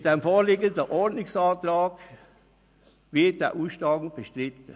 Mit dem vorliegenden Ordnungsantrag wird der Ausstand bestritten.